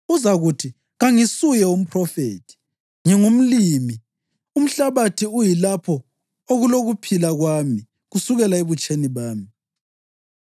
Uzakuthi, ‘Kangisuye umphrofethi, ngingumlimi; umhlabathi uyilapho okulokuphila kwami kusukela ebutsheni bami’